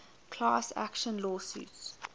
class action lawsuits